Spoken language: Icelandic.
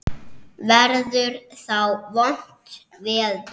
Verður þá vont veður?